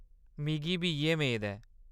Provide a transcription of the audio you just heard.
मिगी बी इʼयै मेद ऐ।